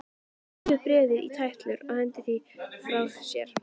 Hann rífur bréfið í tætlur og hendir því frá sér.